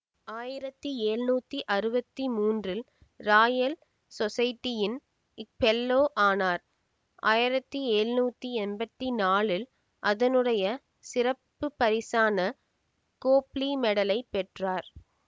ஆயிரத்தி எழ்நூத்தி அறுவத்தி மூன்றில் ராயல் சொஸைட்டியின் ஃபெல்லோ ஆனார் ஆயிரத்தி எழ்நூத்தி எம்பத்தி நாலில் அதனுடைய சிறப்புப்பரிசான கோப்லி மெடலைப் பெற்றார்